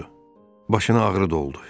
Başını ağrı doldu.